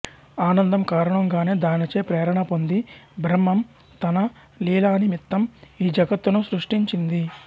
ఆనందం కారణంగానే దానిచే ప్రేరణ పొంది బ్రహ్మం తన లీలానిమిత్తం ఈ జగత్తును సృష్టించింది